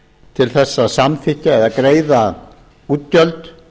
til þess að samþykkja eða greiða útgjöld